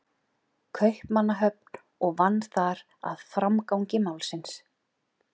Kaupmannahöfn og vann þar að framgangi málsins.